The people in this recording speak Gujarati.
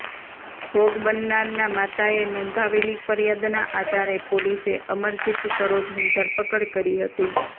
ભોગ બનનારના માતાએ નોંધાવેલી ફરીયાદના આધારે પોલીસે અમરજીત સરોજની ધરપકડ કરી હતી